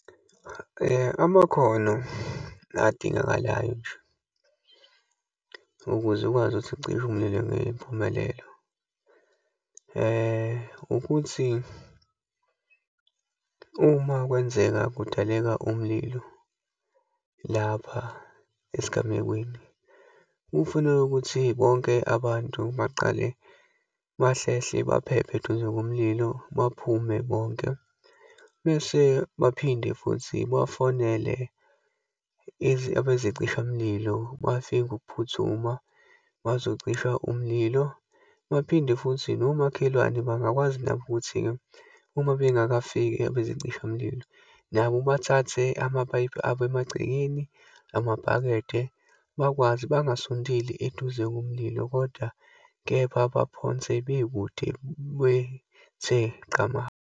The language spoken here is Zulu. Amakhono adingakalayo nje ukuze ukwazi ukuthi ucishe umlilo ngempumelelo, ukuthi uma kwenzeka kudaleka umlilo lapha esigamekweni, kufuneka ukuthi bonke abantu baqale bahlehle, baphephe eduze komlilo, baphume bonke. Bese baphinde futhi bafonele ebezicishamlilo, bafike ngokuphuthuma bazocisha umlilo, baphinde futhi nomakhelwane bangakwazi nabo ukuthi uma bengakafiki abezicishamlilo, nabo bathathe amapayipi abo emagcekeni, amabhakede bakwazi bangasondeli eduze komlilo, kodwa kepha baphonse bekude bethe buqama.